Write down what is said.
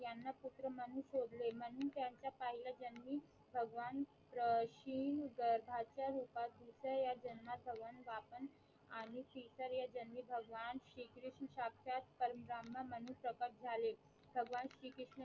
ले म्हूणन त्यांचा पहिल्या जन्मी भगवान अं श्री गर्भाच्या रूपात दुसऱ्या जन्मात भगवान वामन आणि शीतळ या जन्मी भगवान श्री कृष्ण साक्षात परम ब्राह्मण म्हणून प्रकट झाले भगवान श्री कृष्ण